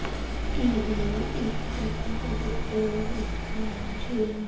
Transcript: ਏਹ ਇੱਕ ਬਹੁਤ ਵਧੀਆ ਜੇਹਾ--